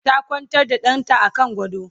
ta Kwantar da ɗanta a kan gado